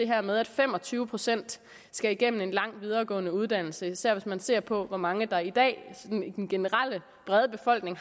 her med at fem og tyve procent skal igennem en lang videregående uddannelse især hvis man ser på hvor mange i den brede befolkning